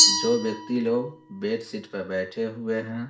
जो व्यक्ति लोग बेडशीट पर बैठे हुए हैं।